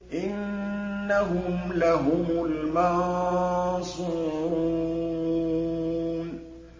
إِنَّهُمْ لَهُمُ الْمَنصُورُونَ